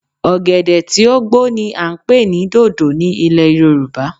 ògèdè tí ó gbó ni a ń pè ní dodo ní ilẹ̀ Yorùbá